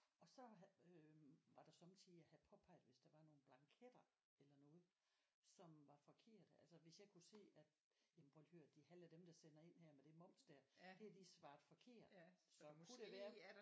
Og så havde øh var der sommetider jeg havde påpeget hvis der var nogle blanketter eller noget som var forkerte altså hvis jeg kunne se at jamen prøv at hør det halve af dem der sender ind med det moms der det har de svaret forkert så kunne det være